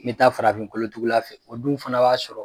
Me bɛ taa farafin kolotugula fɛ, o dun fana b'a sɔrɔ